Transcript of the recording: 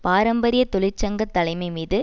பாரம்பரிய தொழிற்சங்க தலைமை மீது